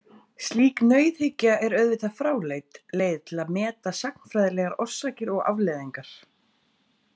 Slík nauðhyggja er auðvitað fráleit leið til að meta sagnfræðilegar orsakir og afleiðingar.